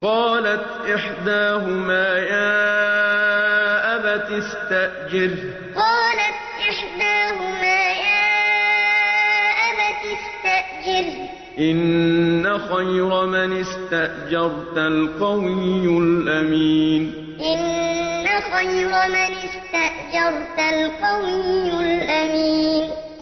قَالَتْ إِحْدَاهُمَا يَا أَبَتِ اسْتَأْجِرْهُ ۖ إِنَّ خَيْرَ مَنِ اسْتَأْجَرْتَ الْقَوِيُّ الْأَمِينُ قَالَتْ إِحْدَاهُمَا يَا أَبَتِ اسْتَأْجِرْهُ ۖ إِنَّ خَيْرَ مَنِ اسْتَأْجَرْتَ الْقَوِيُّ الْأَمِينُ